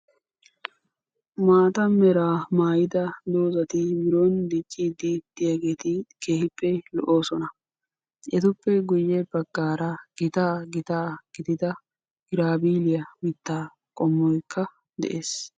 maata meraa maydda dozati biron diccide de'iyaageti keehipe lo"ossona etuppe guyye baggara ita gita gidida giraviliya mitta qommoykka de'ees